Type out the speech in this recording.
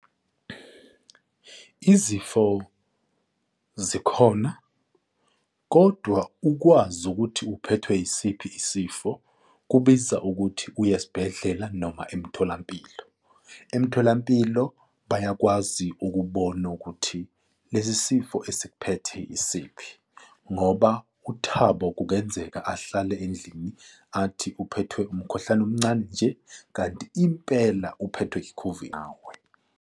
Izifo zikhona kodwa ukwazi ukuthi uphethwe yisiphi isifo kubiza ukuthi uye esibhedlela noma emtholampilo. Emtholampilo bayakwazi ukubona ukuthi lesi sifo esikuphethe isiphi, ngoba uThabo kungenzeka ahlale endlini athi uphethwe umkhuhlane omncane nje kanti impela uphethwe i-COVID nawe.